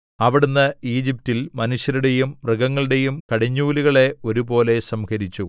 അവിടുന്ന് ഈജിപ്റ്റിൽ മനുഷ്യരുടെയും മൃഗങ്ങളുടെയും കടിഞ്ഞൂലുകളെ ഒരുപോലെ സംഹരിച്ചു